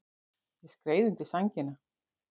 Ég skreið undir sængina.